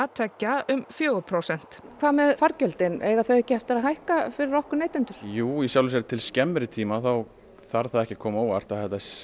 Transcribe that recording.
tveggja um fjögur prósent en hvað með fargjöldin eiga þau ekki eftir að hækka fyrir okkur neytendur jú í sjálfu sér til skemmri tíma að þá þarf það ekki að koma á óvart